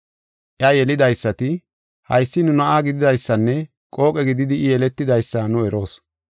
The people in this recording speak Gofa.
Iya yelidaysati, “Haysi nu na7aa gididaysanne qooqe gididi I yeletidaysa nu eroos.